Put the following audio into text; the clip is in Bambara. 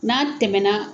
N'a tɛmɛna